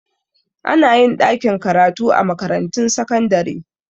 Anayin ɗakin karatu a makarantun sakandare